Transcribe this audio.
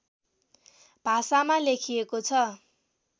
भाषामा लेखिएको छ